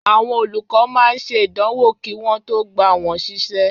Àwọn olùkọ́ máa ń ṣe ìdánwò kí wọn tó gba wọn ṣiṣẹ́